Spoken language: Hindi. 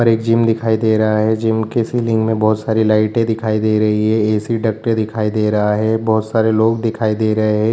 पर एक जिम दिखाई दे रहा है जिम के सिलिंग में बहुत सारी लाइटे दिखाई दे रही है ऐ.सी. डक्टे दिखाई दे रहा है बोहत सारे लोग दिखाई दे रहे हैं।